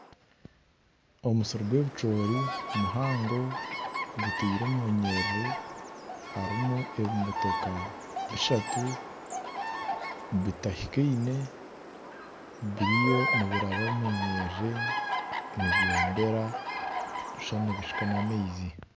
Omusiri gw'ebicoori muhango gutaire omu nyerere, harimu ebimotoka bishatu, bitahikaine biriyo nibaraba omu nyiriri nibyombera nooshusha nibishuka n'amaizi